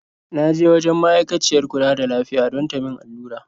Na je wajen ma'aikaciyar kula da lafiya don ta min allura.